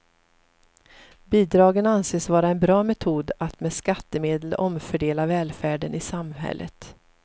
Bidragen anses vara en bra metod att med skattemedel omfördela välfärden i samhället.